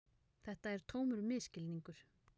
Þetta er tómur misskilningur.